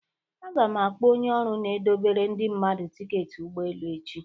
Aga m akpọ onye ọrụ n'edobere Ndị mmadu ticketị ụgbọelu echi